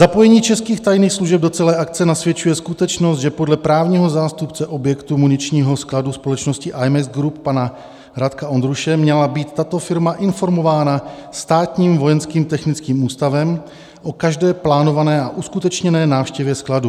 Zapojení českých tajných služeb do celé akce nasvědčuje skutečnost, že podle právního zástupce objektu muničního skladu společnosti Imex Group, pana Radka Ondruše, měla být tato firma informována státním Vojenským technickým ústavem o každé plánované a uskutečněné návštěvě skladu.